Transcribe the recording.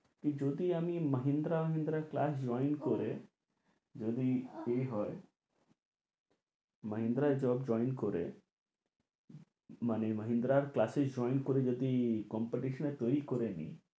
যদি আমি Mahindra Mahindra class join করে যদি কে হয় মাহিন্দ্রায় job join করে মানে মাহিন্দ্রায় class এ join করে যদি competition এ তৈরী করে নি